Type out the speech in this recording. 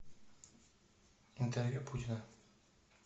интервью путина